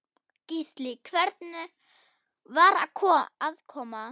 Gísli: Hvernig var aðkoman?